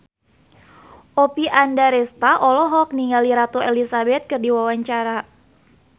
Oppie Andaresta olohok ningali Ratu Elizabeth keur diwawancara